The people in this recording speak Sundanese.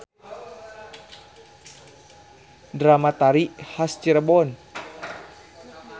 Drama-tari has Cirebon.